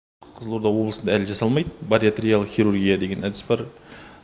қызылорда облысында әлі жасалмайды бариатриялық хирургия деген әдіс бар